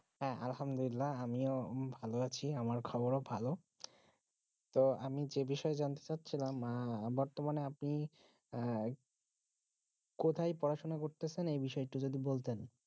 হ্যাঁ আলহামদুল্লাহ আমিও ভালো আছি আমার খবর ভালো তো আমি যে বিষয় জানতে চা ছিলাম বিষয়টি বর্তমানে আপনি কোথায় আহ পড়াশোনা করতেছেন এই বিষয়টি যদি বলতেন